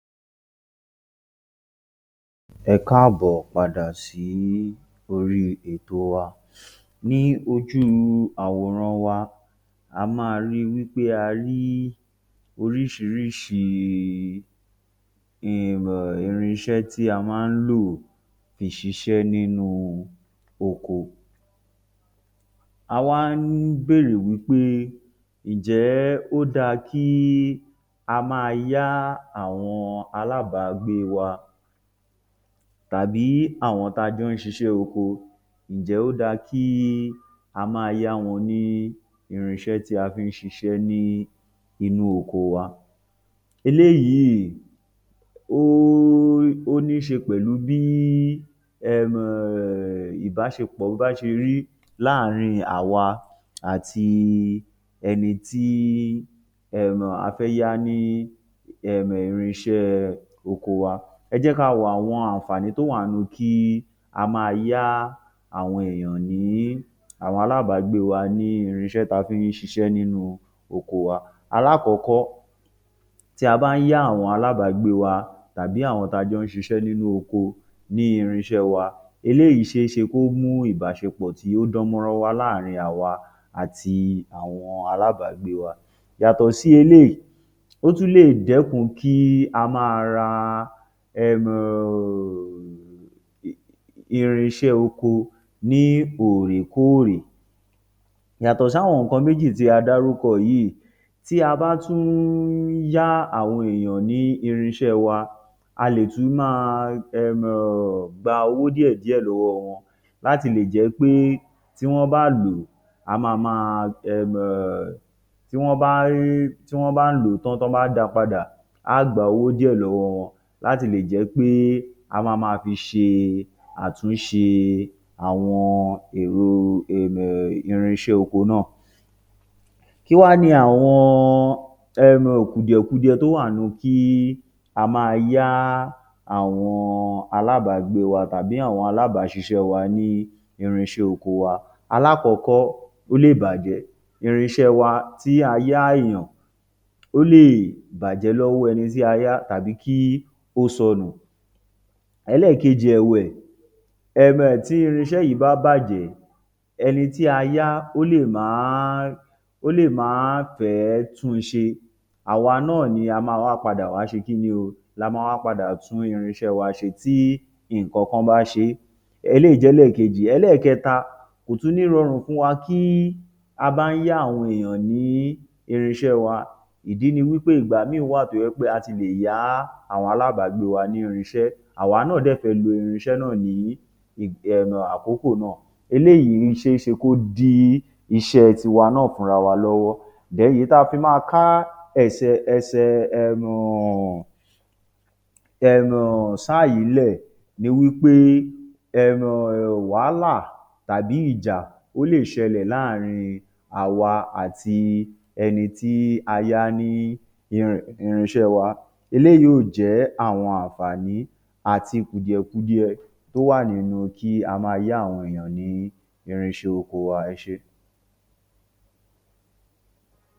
Ẹ káàbọ̀ padà sí orí ẹ̀tò wa. Ní ojú àwòrán wa, a máa rí i wí pé a rí oríṣiríṣi um irin iṣẹ́ tí a má ń lò fi ṣiṣẹ́ ní oko. A wá ń bèrè wí pé ǹjé ó dáa kí a máa yá àwọn alábàágbé wa tàbí àwọn tí a jọ ń ṣiṣẹ́ oko, ǹjẹ́ ó dáa kí a máa yá wọn ní irin iṣẹ́ tí a fi ń ṣiṣẹ ní inú oko wa. Eléyìí óó níṣe pẹ̀lú bí um ìbáṣepọ̀ bá ṣe rí láàárín àwa àti um ẹni tí a fẹ́ yá ní um irin iṣẹ́ oko wa. Ẹ jẹ́ ká wo àǹfààní tó wà nínú kí a máa yá àwọn èèyàn ní àwọn alábàágbé wa ní irin iṣẹ́ tá a fi ń ṣiṣẹ́ nínú oko wa. Alákọ̀ọ́kọ́, tí a bá ń yá àwọn alábàágbé wa àbí àwọn tí a jọ ń ṣiṣẹ́ nínú oko ní irin iṣẹ́ wa, eléyìí ṣeé ṣe kí ó mú ìbáṣepọ̀ tó dán mọ́rán wà láàárín àwa àti àwọn alábàágbé wa. Yàtọ̀ sí eléyìí, ó tún lè dẹ́kun kí a máa ra um irin iṣẹ́ oko ní òòrè kóòrè. Yàtọ̀ sí àwọn nǹkan méjì tí a dárúkọ yìí, tí a bá tún ń yá àwọn èèyàn ní irin iṣẹ́ wa, a lè tún máa um gba owó díè díè lọ́wọ́ wọn láti lè jẹ́ pé tí wọ́n bá lò ó, a máa máa um tí wọ́n bá um tí wọ́n bá lò ó tán tí wọ́n bá dáa padà, aá gba owó díẹ̀ lọ́wọ́ wọn láti lè jẹ́ pé a máa máa fi ṣe àtúnṣe àwọn ẹ̀rọ um irin iṣẹ́ oko náà. Kí wá ni um àwọn kùdìẹ̀-kudiẹ tó wà nínú kí á máa yá àwọn alábàágbé wa àbí àwọn alábáṣiṣẹ́ wa ní irin iṣẹ́ oko wa? Alákọ̀ọ́kọ́, ó lè bàjẹ́. Irin iṣẹ́ wa tí a yá èèyàn, ó lè bàjẹ́ lọ́wọ́ ẹni tí a yá tàbí kí ó sọnù. Ẹléèkeji ẹ̀wẹ̀, um tí irin iṣẹ́ yìí bá bàjẹ́, ẹni tí a yá ó lè máá ó lè máá fè é tún n ṣe, àwa náà ni a máa wá padà ṣe kíni o, la máa wá padà tuń irin iṣẹ́ wa ṣe tí nǹkankan bá ṣe é. Eléyìí jẹ́ ẹlẹ́ẹ̀kejì. Ẹlẹ́ẹ̀kẹta, kò tún ní rọrùn fún wa kí a bá ń yá àwọn èèyàn ní irin iṣẹ́ wa. Ìdí ni wí pé ìgbà míì wà tó jẹ́ pé a ti lè yá àwọn alábàágbé wa ní irin iṣẹ́, àwa náà dẹ̀ fẹ́ lo irin iṣẹ́ náà ní um àkókò náà. Eléyìí ṣeé ṣe kó dí iṣẹ́ tiwa náà fúnra wa lọ́wọ́. èyí tá a fi máa ká ẹ̀sẹ̀ ẹsẹ̀ um sáà yìí ńlẹ̀ ni wí pé wàhálà àbí ìjà ó lè ṣẹlẹ̀ láàárín àwa àti èni tí a yá ní irin iṣẹ́ wa. Eléyìí ò jẹ́ àwọn àǹfààní àti kùdìẹ̀-kudiẹ tó wà nínú kí a máa yá àwọn èèyàn ní irin iṣẹ́ oko wa. Ẹ ṣé.